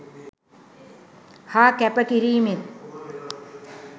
හා කැප කිරීමෙන්